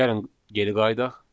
Gəlin geriyə qayıdaq.